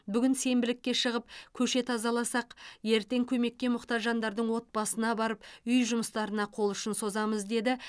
бүгін сенбілікке шығып көше тазаласақ ертең көмекке мұқтаж жандардың отбасына барып үй жұмыстарына қол ұшын созамыз деді